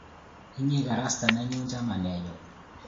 Inye ii karasta nenyu chamanenyu